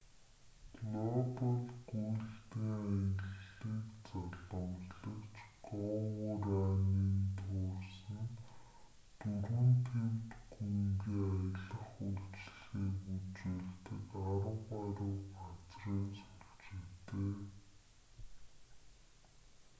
глобаль гүйлтийн аяллыг залгамжлагч гоу раннин турс нь дөрвөн тивд гүйнгээ аялах үйлчилгээг үзүүлдэг арав гаруй газрын сүлжээтэй